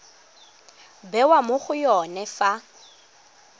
bewa mo go yone fa